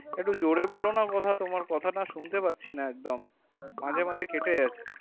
একটু জোরে বলো না কথা তোমার কথা না শুনতে পারছিনা একদম মাঝে মাঝে কেটে যাচ্ছে